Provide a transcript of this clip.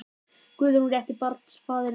Guðrún: Rétti barnsfaðirinn þá?